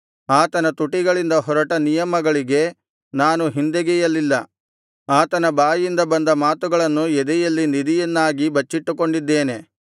ಆತನ ತುಟಿಗಳಿಂದ ಹೊರಟ ನಿಯಮಗಳಿಗೆ ನಾನು ಹಿಂದೆಗೆಯಲಿಲ್ಲ ಆತನ ಬಾಯಿಂದ ಬಂದ ಮಾತುಗಳನ್ನು ಎದೆಯಲ್ಲಿ ನಿಧಿಯನ್ನಾಗಿ ಬಚ್ಚಿಟ್ಟುಕೊಂಡಿದ್ದೇನೆ